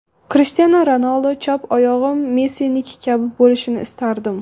Krishtianu Ronaldu: chap oyog‘im Messiniki kabi bo‘lishini istardim.